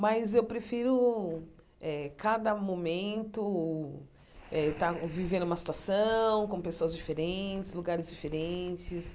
Mas eu prefiro eh cada momento eh estar vivendo uma situação, com pessoas diferentes, lugares diferentes.